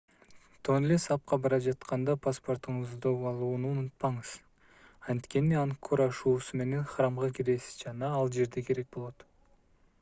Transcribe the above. тонле сапка бара жатканда паспортуңузду алууну унутпаңыз анткени ангкор ашуусу менен храмга киресиз жана ал жерде керек болот